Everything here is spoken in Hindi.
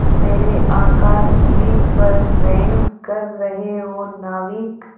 मेरे आकाशदीप पर व्यंग कर रहे हो नाविक